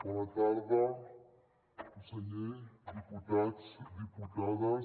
bona tarda conseller diputats diputades